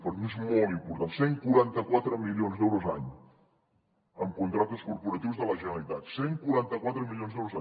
per mi és molt important cent i quaranta quatre milions d’euros l’any en contractes corporatius de la generalitat cent i quaranta quatre milions d’euros